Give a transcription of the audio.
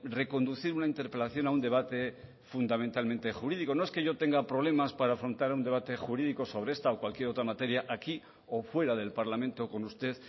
reconducir una interpelación a un debate fundamentalmente jurídico no es que yo tenga problemas para afrontar un debate jurídico sobre esta o cualquier otra materia aquí o fuera del parlamento con usted